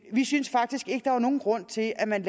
vi synes faktisk ikke at der er nogen grund til at man